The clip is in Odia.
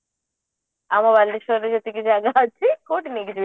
ଆମ ବାଲେଶ୍ବରରେ ଯେତିକି ଜାଗା ଅଛି କୋଉଠି ନେଇକି ଯିବି ତାକୁ